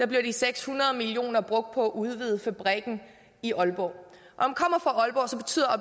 bliver de seks hundrede million kroner brugt på at udvide fabrikken i aalborg